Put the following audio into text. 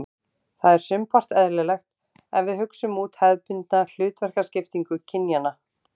Það er sumpart eðlilegt ef við hugsum út hefðbundna hlutverkaskiptingu kynjanna.